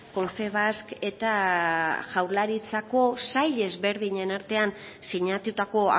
confebask eta jaurlaritzako sail ezberdinen artean sinatutako